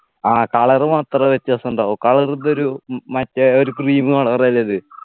ആ Color മാത്രമേ വ്യത്യാസമുണ്ടാകു Color ഇത് ഒരു ഉം മറ്റേ ഒരു Cream Color അല്ലേ ഇത്